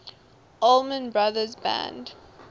allman brothers band